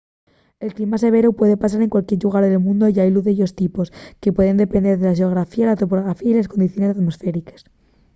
el clima severu puede pasar en cualquier llugar del mundu y hailu de dellos tipos que pueden depender de la xeografía la topografía y les condiciones atmosfériques